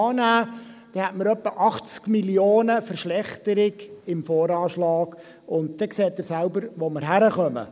Dann hätten wir etwa 80 Mio. Franken Verschlechterung im VA, und dann sehen Sie selbst, wo wir hinkommen.